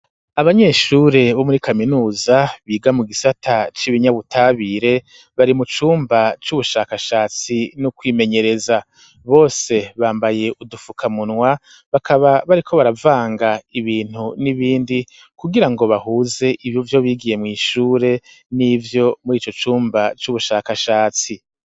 Abanyeshure bo muri kaminuza, biga mu gisata c'ibinyabutabire, bari mu cumba c'ubushakashatsi no kwimenyereza, bose bambaye udufukamunwa bakaba bariko baravanga ibintu n'ibindi, kugira ngo bahuze ivyo bigiye mw'ishure n'ivyo muri ico cumba c'ubushakashatsi.